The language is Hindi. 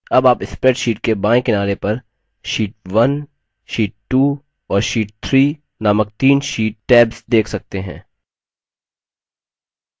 अब आप spreadsheet के बायें किनारे पर sheet1 sheet 2 और sheet 3 नामक तीन sheet tabs देख सकते हैं